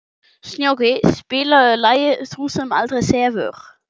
Snjóki, spilaðu lagið „Sú sem aldrei sefur“.